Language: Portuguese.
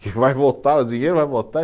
Que vai voltar o dinheiro, vai voltar.